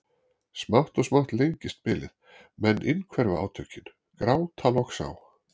Smátt og smátt lengist bilið, menn innhverfa átökin, gráta loks á